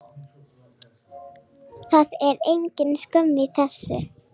Það er engin skömm í þessu.